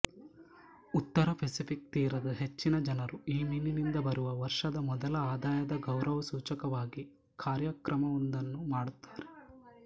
ಉತ್ತರ ಪೆಸಿಫಿಕ್ ತೀರದ ಹೆಚ್ಚಿನ ಜನರು ಈ ಮೀನಿನಿಂದ ಬರುವ ವರ್ಷದ ಮೊದಲ ಆದಾಯದ ಗೌರವಸೂಚಕವಾಗಿ ಕಾರ್ಯಕ್ರಮವೊಂದನ್ನು ಮಾಡುತ್ತಾರೆ